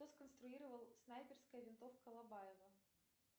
кто сконструировал снайперская винтовка лобаева